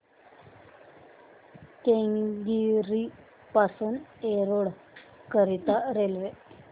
केंगेरी पासून एरोड करीता रेल्वे